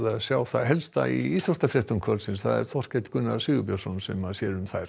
sjá það helsta í íþróttafréttum kvöldsins það er Þorkell Gunnar Sigurbjörnsson sem sér um þær